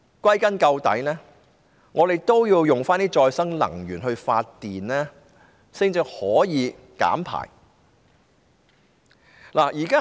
歸根究底，我們應使用可再生能源來發電，這樣才能減排。